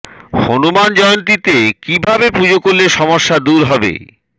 হনুমান জয়ন্তীতে কী ভাবে পুজো করলে সমস্যা দূর হবে